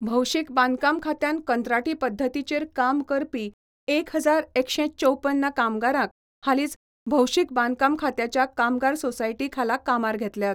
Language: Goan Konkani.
भौशिक बांदकाम खात्यान कंत्राटी पद्दतीचेर काम करपी एक हजार एकशे चौप्पन कामगारांक हालीच भौशीक बांदकाम खात्याच्या कामगार सोसायटी खाला कामार घेतल्यात.